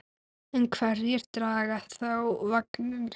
En hverjir draga þá vagninn?